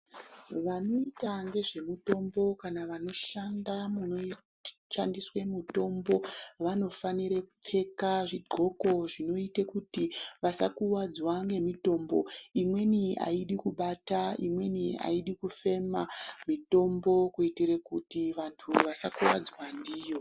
Vanoita ngezve mutombo kana vanoshanda muno shandiswe mutombo vano fanire kupfeka zvi ndxoko zvinoite kuti vasa kuwadza nge mitombo imweni ayidi kubata imweni ayidi kufema mitombo kuitire kuti vantu vasa kuwadzwa ndiyo.